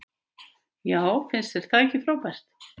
Já og finnst þér það ekki frábært?